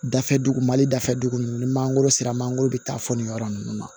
Dafɛ dugu mali dafɛ dugu ninnu ni mangoro sera mangoro bɛ taa fɔ nin yɔrɔ nunnu na